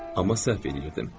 Amma səhv eləyirdim.